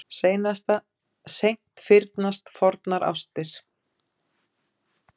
Seint fyrnast fornar ástir.